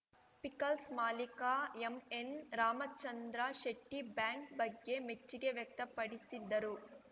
pickles ಮಾಲೀಕ MN Ramachandra ಶೆಟ್ಟಿಬ್ಯಾಂಕ್‌ ಬಗ್ಗೆ ಮೆಚ್ಚಿಗೆ ವ್ಯಕ್ತಪಡಿಸಿದ್ದರು